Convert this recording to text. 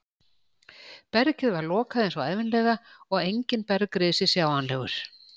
Bergið var lokað eins og ævinlega og enginn bergrisi sjáanlegur.